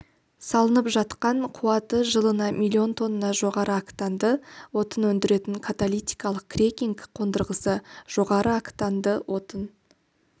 салынып жатқан қуаты жылына миллион тонна жоғары октанды отын өндіретін каталитикалық крекинг қондырғысы жоғары октанды отын